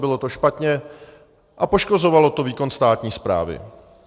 Bylo to špatně a poškozovalo to výkon státní správy.